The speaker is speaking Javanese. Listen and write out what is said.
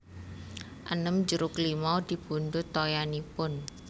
enem jeruk limau dipundhut toyanipun